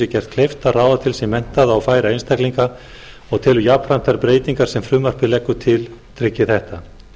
gert kleift að ráða til sín menntaða og færa einstaklinga en telur jafnframt þær breytingar sem frumvarpið leggur til tryggi þetta